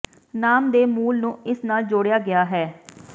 ਨਾਮ ਦੇ ਮੂਲ ਨੂੰ ਇਸ ਨਾਲ ਜੋੜਿਆ ਗਿਆ ਹੈ